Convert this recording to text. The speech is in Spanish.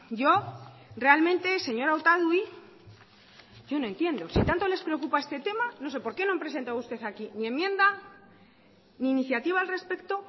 yo realmente señora otadui yo no entiendo si tanto les preocupa este tema no sé por qué no han presentado ustedes aquí ni enmienda ni iniciativa al respecto